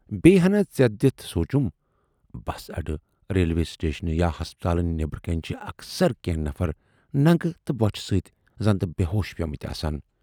بییہِ ہَنا ژٮ۪تھ دِتھ سوٗنچُم"بَس اَڈٕ، ریلوے سٹیشنہٕ یا ہسپتال نٮ۪برٕ کنہِ چھِ اکثر کینہہ نفر ننگہٕ تہٕ بۅچھِ سۭتۍ زَنتہٕ بے ہوش پیمٕتۍ آسان۔